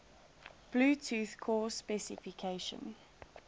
bluetooth core specification